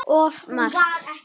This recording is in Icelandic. Of margt.